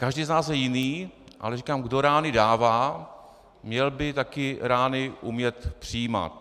Každý z nás je jiný, ale říkám - kdo rány dává, měl by taky rány umět přijímat.